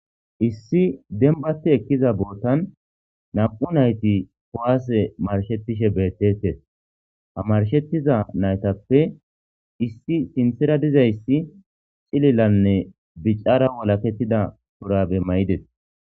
Issi denbate ekkiza bootan nam'u nayti kowaase marshetishe beettetes hamarshettiza naytappe issi sinthera dizayssi cililanne bicara wolakettida purabe may'ides